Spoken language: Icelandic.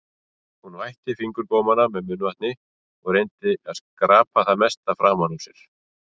Hún vætti fingurgómana með munnvatni og reyndi að skrapa það mesta framan úr sér.